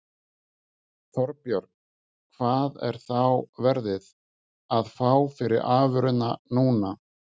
Þorbjörn: Hvað er þá verðið, að fá fyrir afurðina núna?